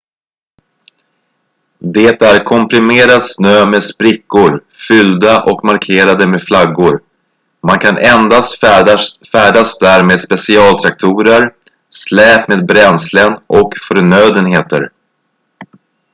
det är komprimerad snö med sprickor fyllda och markerade med flaggor man kan endast färdas där med specialtraktorer släp med bränslen och förnödenheter